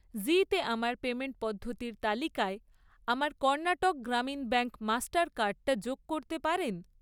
জীতে আমার পেমেন্ট পদ্ধতির তালিকায় আমার কর্ণাটক গ্রামীণ ব্যাঙ্ক মাস্টার কার্ডটা যোগ করতে পারেন?